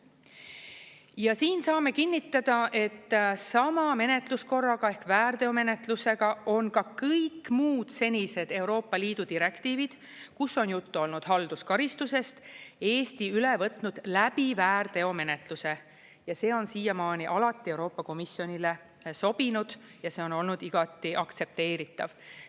Ja siin saame kinnitada, et sama menetluskorraga ehk väärteomenetlusega on ka kõik muud senised Euroopa Liidu direktiivid, kus on juttu olnud halduskaristusest, Eesti üle võtnud läbi väärteomenetluse ja see on siiamaani alati Euroopa Komisjonile sobinud ja see on olnud igati aktsepteeritav.